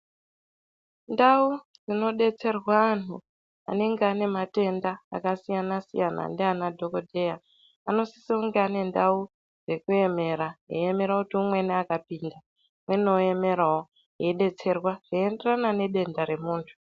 Ndau dzinodetserwa antu anenge ane matenda akasiyana siyana ndiana dhokodheya anosise kunge ane ndau dzekuemera eiemera kuti umweni akapinda umweni oemerawo eidetserwa zveienderana nedenda remuntu.